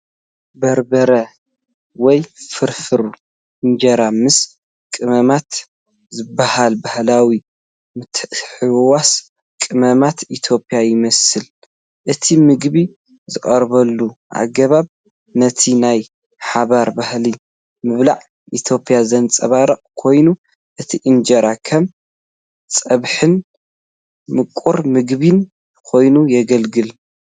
በርበረ ወይ ፍሩፍሩ (እንጀራ ምስ ቀመማት) ዝበሃል ባህላዊ ምትሕውዋስ ቀመማት ኢትዮጵያ ይመስል። እቲ ምግቢ ዝቐርበሉ ኣገባብ ነቲ ናይ ሓባር ባህሊ ምብላዕ ኢትዮጵያ ዘንጸባርቕ ኮይኑ፡ እቲ እንጀራ ከም ፀብሕን ምቁር ምግቢን ኮይኑ የገልግል።